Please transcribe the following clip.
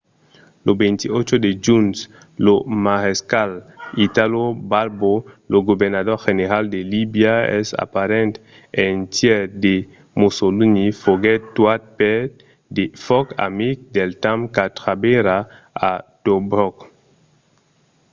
lo 28 de junh lo marescal italo balbo lo governador general de libia e aparent eiretièr de mussolini foguèt tuat per de fòc amic del temps qu'aterrava a tobrok